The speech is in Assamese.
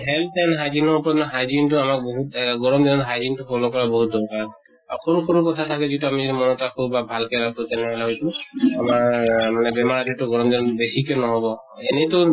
health and hygiene ওপৰত hygiene তো আমাৰ বহুত আ গৰম দিনত hygiene তো follow কৰা বহুত দৰকাৰ । অ সৰু কথা যিটো আমি মনত ৰাখো বা ভাল কে ৰাখো তেনেহʼলে হয়্তো আমাৰ মানে বেমাৰ যিটো গৰম দিনত বেছিকে ন্হʼব । এয়েতো